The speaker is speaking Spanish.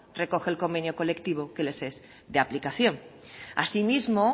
recoge el convenio colectivo que les es de aplicación asimismo